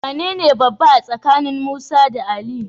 Wanene babba a tsakanin Musa da Ali?